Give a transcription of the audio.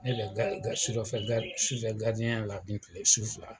Ne bɛ sufɛ ya la su fila.